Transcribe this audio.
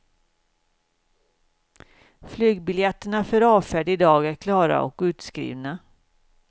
Flygbiljetterna för avfärd idag är klara och utskrivna.